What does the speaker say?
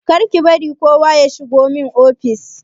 Kar ki bari kowa ya shigo min ofis!